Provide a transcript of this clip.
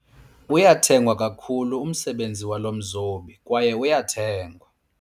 Uyathengwa kakhulu umsebenzi walo mzobi kwaye uyathengwa.